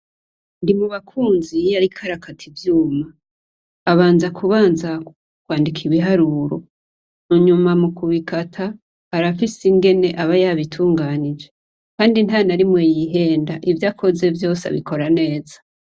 Ndimubakunzi iyo ariko arakata ivyuma, abanza kubanza kwandika ibiharuro. Hanyuma mukubikata, arafise ingene aba yabitunganije Kandi ntanarimwe yihenda, Ivyo akoze vyose abikora neza.